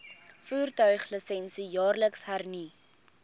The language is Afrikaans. voertuiglisensie jaarliks hernu